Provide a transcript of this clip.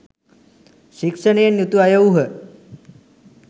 ශික්ෂණයෙන් යුතු අය වූහ.